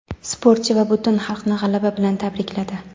sportchi va butun xalqni g‘alaba bilan tabrikladi.